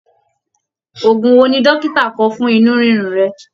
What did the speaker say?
Ògùn wò ní dókítà kọ fún inú rirun rẹ?